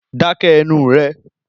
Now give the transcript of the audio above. Dáké̩ e̩nu ré!